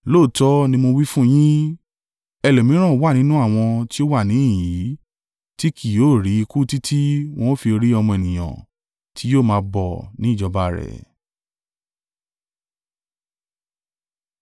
“Lóòótọ́ ni mo wí fún yín. Ẹlòmíràn wà nínú àwọn tí ó wà níhìn-ín yìí, tí kì yóò ri ikú títí wọn ó fi rí Ọmọ Ènìyàn tí yóò máa bọ̀ ní ìjọba rẹ̀.”